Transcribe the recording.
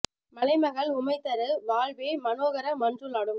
மலை மகள் உமை தரு வாழ்வே மனோகர மன்றுளாடும்